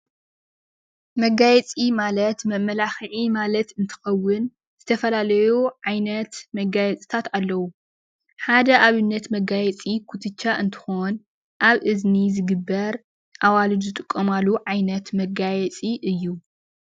መጋየፂ ማለት መማላክዒ ማለት እንትኸውን ዝተፈላለዩ ዓይነት መጋየፅታት ኣለው፡፡ ሓደ ኣብነት መጋየፂ ኩትቻ እንትኸውን ኣብ እዝኒ ዝግበር ኣዋልድ ዝጥቀማሉ ዓይነት መጋየፂ እዩ፡፡